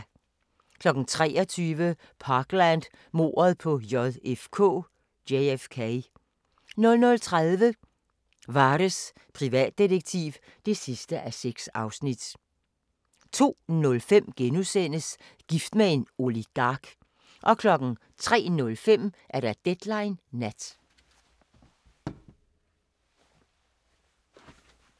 23:00: Parkland - mordet på JKF 00:30: Vares, privatdetektiv (6:6) 02:05: Gift med en oligark * 03:05: Deadline Nat